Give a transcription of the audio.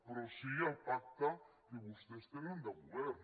però sí el pacte que vostès tenen de govern